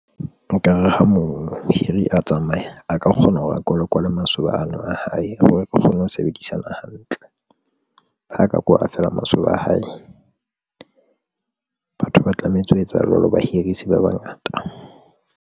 Nkare ha mohiri a tsamaya, a ka kgona hore a kwalakwale masoba ano a hae hore re kgone ho sebedisana hantle, ha ka kwala feela masoba a hae batho ba tlametse ho etsa jwalo bahiri hase bangata.